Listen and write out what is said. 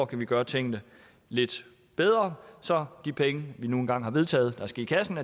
kan gøre tingene lidt bedre så de penge vi nu engang har vedtaget skal i kassen